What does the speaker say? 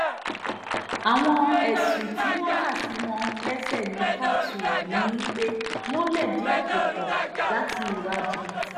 àwọn ẹ̀sùn tí wọ́n kà sí wọn lẹ́sẹ̀ ní kóòtù ọ̀hún ni pé wọ́n lẹ̀dí àpò pọ̀ láti hùwà jìbìtì